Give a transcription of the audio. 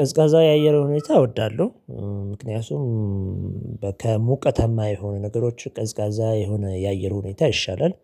ቀዝቃዛ የአየር ሁኔታ እወዳለሁ ምክንያቱም ከሙቀታማ የሆኑ ነገሮች ቀዝቃዛ የሆነ የአየር ሁኔታ ይሻላል።